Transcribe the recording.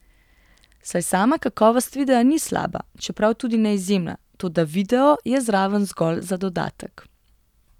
Saj sama kakovost videa ni slaba, čeprav tudi ne izjemna, toda video je zraven zgolj za dodatek.